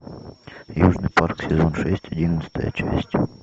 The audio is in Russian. южный парк сезон шесть одиннадцатая часть